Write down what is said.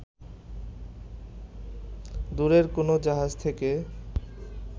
দূরের কোনো জাহাজ থেকে